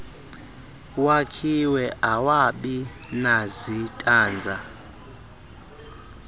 wakhiwe awabi nazitanza